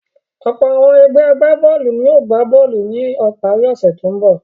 Ọ̀pọ̀ àwọn ẹgbẹ́ agbá-bọ́ọ́lù ni yóò gbá bọ́ọ́lù ní ìparí ọ̀sẹ̀ tó ń bọ̀.